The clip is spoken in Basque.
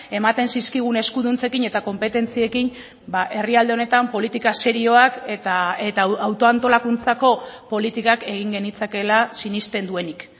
ematen zizkigun eskuduntzekin eta konpetentziekin herrialde honetan politika serioak eta autoantolakuntzako politikak egin genitzakeela sinesten duenik